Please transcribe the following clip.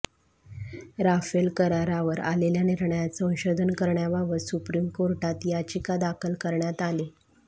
Rafale करारावर आलेल्या निर्णयात संशोधन करण्याबाबत सुप्रीम कोर्टात याचिका दाखल करण्यात आली